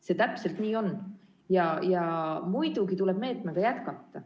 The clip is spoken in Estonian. See täpselt nii on ja muidugi tuleb meetmega jätkata.